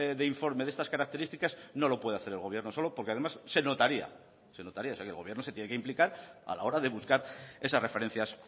de informe de estas características no lo puede hacer el gobierno solo porque además se notaría o sea que el gobierno se tiene que implicar a la hora de buscar esas referencias